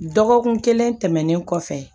Dɔgɔkun kelen tɛmɛnen kɔfɛ